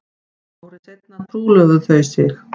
Ári seinna trúlofuðu þau sig